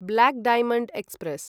black diamond express